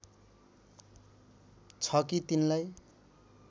छ कि तिनलाई